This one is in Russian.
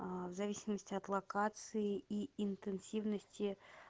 в зависимости от локации и интенсивности